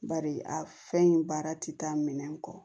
Bari a fɛn in baara ti taa minɛn kɔ